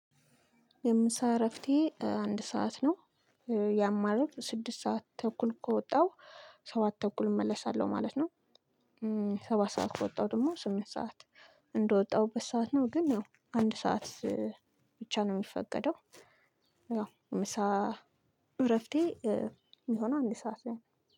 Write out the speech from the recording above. የምሳ እረፍቴ አንድ ሰዓት ነው። ያማለት ስድስት ሰዓት ተኩል ከወጣው ሰባት ተኩል እመለሳለሁ ማለት ነው። ሰባት ሰዓት ከወጣሁ ደግሞ ስምንት ሰዓት እንደወጣሁበት ሰዓት ነው ግን ያው አንድ ሰዓት ብቻ ነው የሚፈቀደው። እረፍቴ የሚሆነው አንድ ሰዓት ላይ ነው